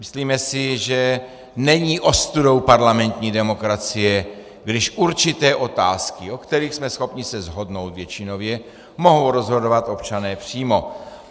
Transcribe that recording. Myslíme si, že není ostudou parlamentní demokracie, když určité otázky, o kterých jsme schopni se shodnout většinově, mohou rozhodovat občané přímo.